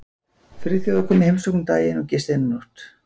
Friðþjófur kom í heimsókn um daginn og gisti eina nótt.